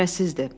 Kübrəsizdir.